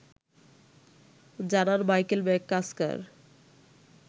জানান Michael McCusker